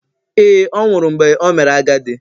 Ee, ọ nwụrụ mgbe o mere agadi.